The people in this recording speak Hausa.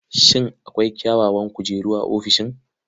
Shin akwai kyawawan kujeru a ofishin?